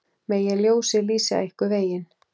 Megi ljósið lýsa ykkur veginn.